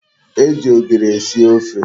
E ji ogiri esi ofe